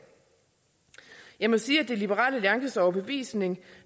jeg må sige at det er liberal alliances overbevisning